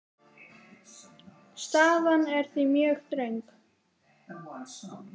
Staðan er því mjög þröng.